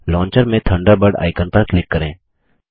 launcher में Thunderbird icon पर click करें